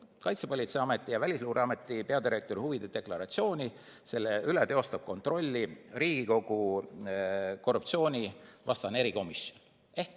Kaitsepolitseiameti ja Välisluureameti peadirektori huvide deklaratsiooni üle teostab kontrolli Riigikogu korruptsioonivastane erikomisjon.